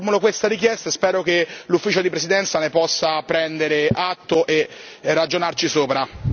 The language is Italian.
Formulo questa richiesta e spero che l'Ufficio di presidenza ne possa prendere atto e ragionarci sopra.